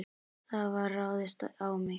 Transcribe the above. Það var ráðist á mig.